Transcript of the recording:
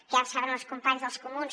que ja saben els companys dels comuns